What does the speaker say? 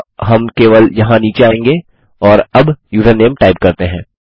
अतः हम केवल यहाँ नीचे आएँगे और अब यूजरनेम टाइप करते हैं